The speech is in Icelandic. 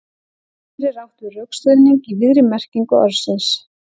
Hér er átt við rökstuðning í víðri merkingu orðsins.